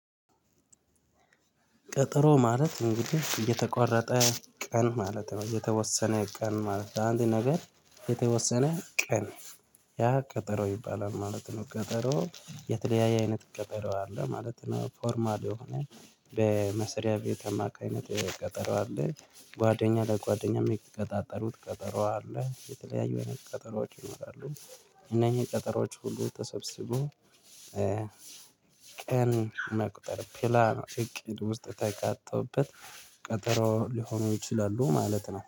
ቀጠሮ ማለት እንግዲህ የተቆረጠ ቀን ማለት ነው የተወሰነ ቀን ማለት ነው ለአንድ ነገር የተወሰነ ቀን ያቀጠሮ ይባላል ማለት ነው። ቀጠሮ የተለያየ አይነት ቀጠሮ አለ ማለት ነው። ፎርማል የሆነ በመስሪያ ቤት አማካ ይነት ቀጠሮ አለ። ጓደኛ ለጓደኛ የሚቀጣጠሩት ቀጠሮ አለ የተለያዩ አይነት ቀጠሮዎች ይኖራሉ። እነኝህ ቀጠሮዎች ሁሉ ተሰብስቦ ቀን መቁጠር ፕላን እቅድ ውስጥ ተካቶበት ቀጠሮ ሊሆኑ ይችላሉ ማለት ነው